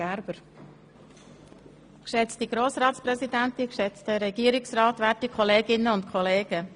der grössere Teil unterstützt auch die Motion.